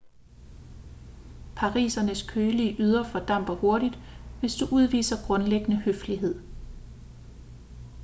parisernes kølige ydre fordamper hurtigt hvis du udviser grundlæggende høflighed